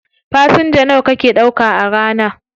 Fasenja nawa kake ɗauka a rana?